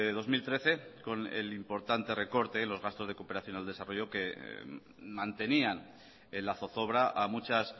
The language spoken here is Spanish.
dos mil trece con el importante recorte en los gastos de cooperación al desarrollo que mantenían en la zozobra a muchas